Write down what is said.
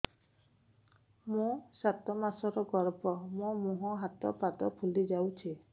ମୋ ସାତ ମାସର ଗର୍ଭ ମୋ ମୁହଁ ହାତ ପାଦ ଫୁଲି ଯାଉଛି